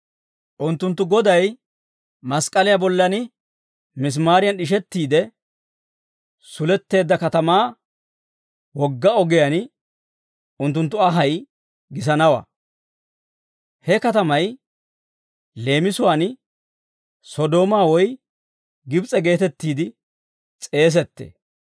Unttunttu Goday mask'k'aliyaa bollan misimaariyan d'ishettiide suletteedda katamaa wogga ogiyaan unttunttu anhay gisanawaa. He katamay leemisuwaan Sodoomaa woy Gibs'e geetettiide s'eesettee.